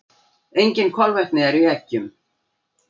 Engin kolvetni eru í eggjum.